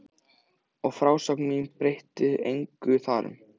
Og frásögn mín breytir engu þar um.